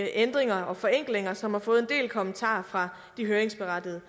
ændringer og forenklinger som har fået en del kommentarer fra de høringsberettigede